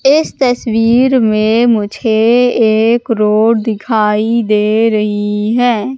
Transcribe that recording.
इस तस्वीर में मुझे एक रोड दिखाई दे रही है।